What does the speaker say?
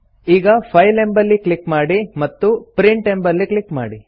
ಈಗ ಫೈಲ್ ಎಂಬಲ್ಲಿ ಕ್ಲಿಕ್ ಮಾಡಿ ಮತ್ತು ಪ್ರಿಂಟ್ ಎಂಬಲ್ಲಿ ಕ್ಲಿಕ್ ಮಾಡಿ